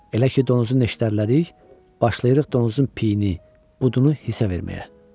Elə ki donuzu nəşdələdik, başlayırıq donuzun piyini, budunu hisə verməyə.